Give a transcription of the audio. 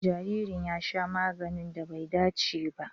Jaririn ya sha maganin da bai dace ba.